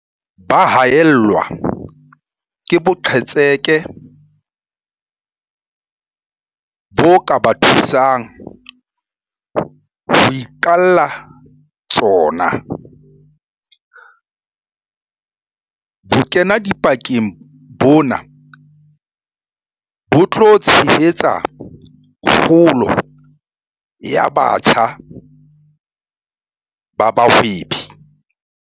Ba haellwa ke boqhetseke bo ka ba thusang ho iqalla tsona. Bokenadipakeng bona bo tla tshehetsa kgolo ya batjha ba bahwebi.